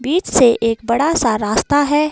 बीच से एक बड़ा सा रास्ता है।